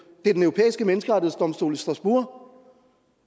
europæiske menneskerettighedsdomstol i strasbourg